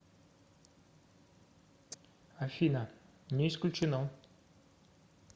афина не исключено